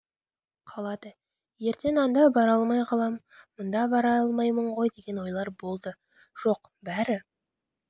қалады ертең анда бара алмай қалам мында бара алмаймын ғой деген ойлар болды жоқ бәрі